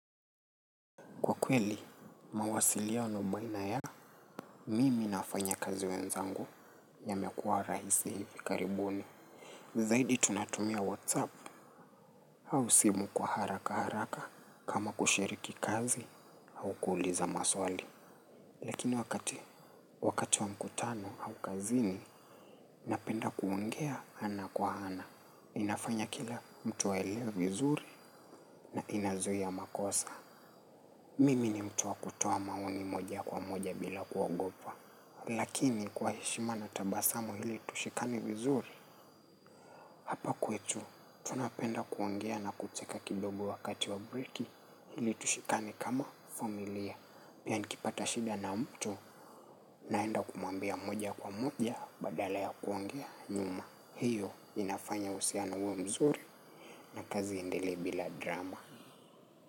Kwa kweli, mawasiliano baina ya, mimi na wafanya kazi wenzangu ya mekua rahisi hivi karibuni. Zaidi tunatumia WhatsApp au simu kwa haraka haraka kama kushiriki kazi au kuuliza maswali. Lakini wakati wakati wa mkutano au kazini, napenda kuongea ana kwa ana. Inafanya kila mtu aelewe vizuri na inazuia makosa. Mimi ni mtu wa kutoa maoni moja kwa moja bila kuogopa. Lakini kwa heshima na tabasamu ili tushikane vizuri hapa kwetu. Napenda kuongea na kucheka kidogo wakati wa breaki ili tushikane kama familia. Pia nikipata shida na mtu naenda kumwambia moja kwa moja badala ya kuongea nyuma. Hiyo inafanya uhusiano uwe mzuri na kazi indelew bila drama.